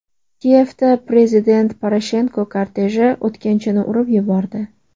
Kiyevda prezident Poroshenko korteji o‘tkinchini urib yubordi.